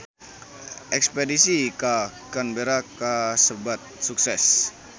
Espedisi ka Canberra kasebat sukses